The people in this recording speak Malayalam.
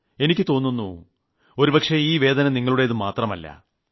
എനിക്ക് തോന്നുന്നു ഒരുപക്ഷേ ഈ വേദന നിങ്ങളുടെത് മാത്രമല്ല